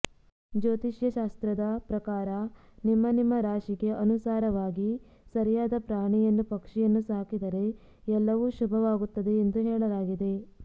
ಜ್ಯೋತಿಷ್ಯ ಶಾಸ್ತ್ರದ ಪ್ರಕಾರ ನಿಮ್ಮ ನಿಮ್ಮ ರಾಶಿಗೆ ಅನುಸಾರವಾಗಿ ಸರಿಯಾದ ಪ್ರಾಣಿಯನ್ನು ಪಕ್ಷಿಯನ್ನು ಸಾಕಿದರೆ ಎಲ್ಲವೂ ಶುಭವಾಗುತ್ತದೆ ಎಂದು ಹೇಳಲಾಗಿದೆ